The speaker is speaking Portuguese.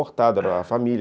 Era uma família.